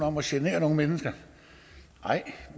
om at genere nogen mennesker nej